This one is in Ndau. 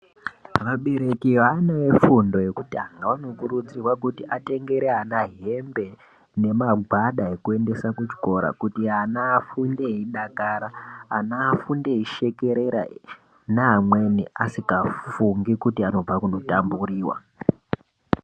Vabereki vevana vefundo yekutanga vanokurudzirwa kuti atengere ana hembe nemagwada ekuendesa kuchikora kuti ana afunde eidakara, ana afunde eishekerera neamweni asingafungi kuti anobva kunotamburiwa.